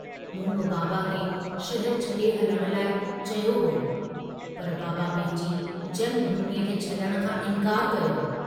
मूं बि बाबा खे शहर छडे हलण लाइ चयो हो, पर बाबा पंहिंजी जन्म भूमीअ खे छडुण खां इन्कारु कयो।